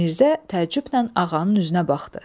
Mirzə təəccüblə ağanın üzünə baxdı.